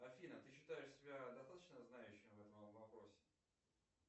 афина ты считаешь себя достаточно знающей в этом вопросе